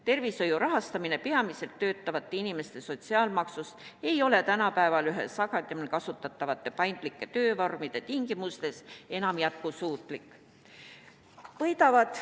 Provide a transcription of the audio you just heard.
Tervishoiu rahastamine peamiselt töötavate inimeste sotsiaalmaksust ei ole tänapäeval üha sagedamini kasutatavate paindlike töövormide tingimustes enam jätkusuutlik.